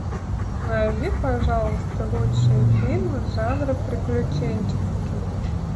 найди пожалуйста лучшие фильмы жанра приключенческий